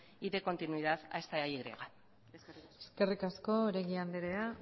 y de continuidad a esta y eskerrik asko eskerrik asko oregi andrea